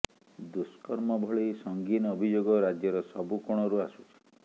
ଦୁଷ୍କର୍ମ ଭଳି ସଙ୍ଗୀନ ଅଭିଯୋଗ ରାଜ୍ୟର ସବୁ କୋଣରୁ ଆସୁଛି